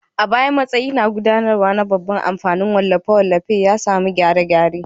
A baya, matsayi na gudanarwa na babban kamfanin wallafe-wallafen ya sami gyare-gyare.